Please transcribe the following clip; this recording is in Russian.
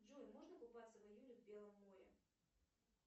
джой можно купаться в июне в белом море